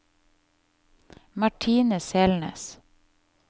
Martine Selnes